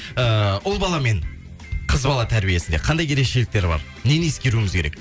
ыыы ұл бала мен қыз бала тәрбиесінде қандай ерекшеліктер бар нені ескеруіміз керек